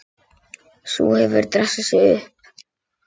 Sú hefur dressað sig upp!